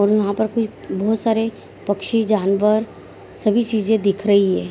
और यहाँ पर कोई बहुत सारे पंछी जानवर सभी चीजे दिख रही है |